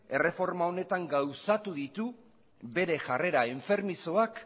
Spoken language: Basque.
erreforma honetan gauzatu ditu bere jarrera enfermizoak